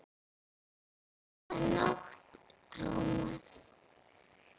Góða nótt, Thomas